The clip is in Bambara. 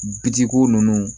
Bi di ko ninnu